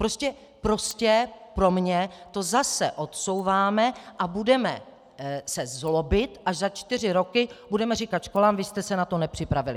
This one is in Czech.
Prostě pro mě to zase odsouváme a budeme se zlobit, až za čtyři roky budeme říkat školám: Vy jste se na to nepřipravily.